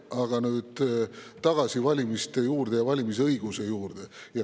Aga nüüd tagasi valimiste ja valimisõiguse juurde.